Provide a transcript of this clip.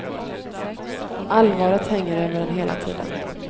Allvaret hänger över en hela tiden.